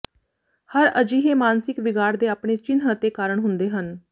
ਹਰ ਅਜਿਹੇ ਮਾਨਸਿਕ ਵਿਗਾੜ ਦੇ ਆਪਣੇ ਚਿੰਨ੍ਹ ਅਤੇ ਕਾਰਨ ਹੁੰਦੇ ਹਨ